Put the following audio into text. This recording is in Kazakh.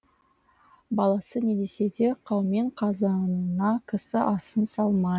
баласы не десе де қаумен қазанына кісі асын салмай